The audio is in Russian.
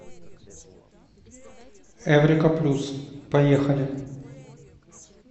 эврика плюс поехали